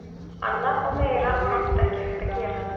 Annað og meira var oft ekki hægt að gera.